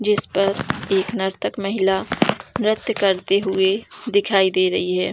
जिस पर एक नर्तक महिला नृत्य करती हुई दिखाई दे रही है।